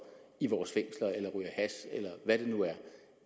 i vores fængsler eller ryger hash eller hvad det nu er